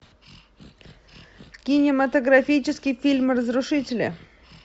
кинематографический фильм разрушители